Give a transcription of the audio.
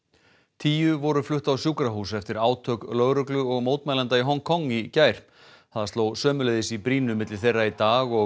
tíu voru flutt á sjúkrahús eftir átök lögreglu og mótmælenda í Hong Kong í gær það sló sömuleiðis í brýnu milli þeirra í dag og